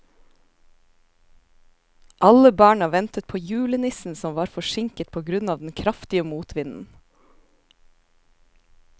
Alle barna ventet på julenissen, som var forsinket på grunn av den kraftige motvinden.